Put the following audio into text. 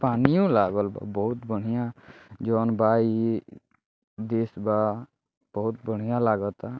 पानियो लागल बा बहुत बढ़ियां जउन बा इ देश बा। बहुत बढ़ियां लागता।